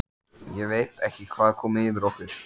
Ég veit ekki hvað kom yfir okkur.